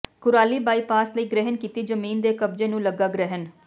Kurali bypass ਲਈ ਗ੍ਰਹਿਣ ਕੀਤੀ ਜ਼ਮੀਨ ਦੇ ਕਬਜ਼ੇ ਨੂੰ ਲੱਗਾ ਗ੍ਰਹਿਣ